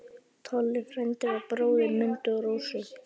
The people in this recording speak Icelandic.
Tolli frændi var bróðir Mundu og Rósu.